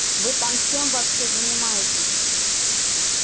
вы там чем вообще занимаетесь